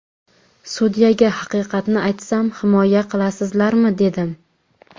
Sudyaga haqiqatni aytsam himoya qilasizlarmi dedim.